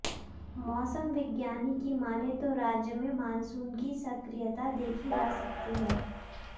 मौसम विज्ञानी की मानें तो राज्य में मानसून की सक्रियता देखी जा सकती है